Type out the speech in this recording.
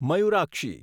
Mayurakshi